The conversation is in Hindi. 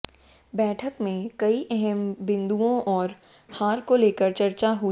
बैठक में कई अहम बिंदुओं और हार को लेकर चर्चा हुई